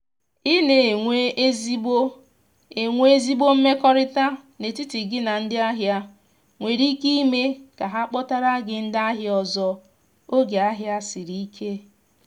i na enwe ezigbo enwe ezigbo mmekọrịta n’etiti gị na ndị ahịa nwere ike ime ka ha kpọtara gi ndị ahia ọzọ oge ahia siri ike.